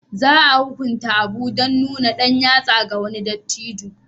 Za a hukunta Abu dan nuna ɗan yatsa ga wani dattijo